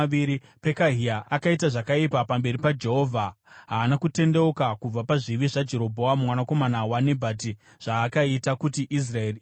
Pekahia akaita zvakaipa pamberi paJehovha. Haana kutendeuka kubva pazvivi zvaJerobhoamu mwanakomana waNebhati, zvaakaita kuti Israeri iite.